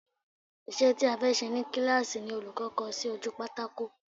Isẹ́ ti a fẹ́ ṣe ni kíláàsì ni olùkọ́ kọ sí ojú pátákò